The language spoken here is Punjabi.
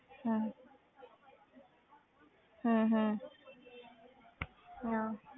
ਹਮ ਹਮ ਹਮ ਹਮ